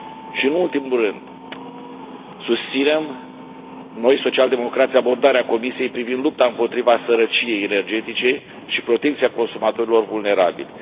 Și, nu în ultimul rând, noi, social democrații, susținem abordarea Comisiei privind lupta împotriva sărăciei energetice și protecția consumatorilor vulnerabili.